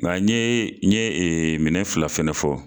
mɛ an ye n ye minɛn fila fɛnɛ fɔ